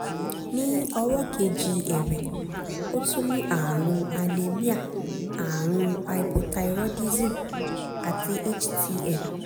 ní ọwọ́ kejì ẹ̀wẹ̀ ó tún ní ààrùn anemia ààrùn hypothyroidism àti htn